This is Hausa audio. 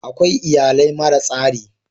Akwai iyalai mara tsari.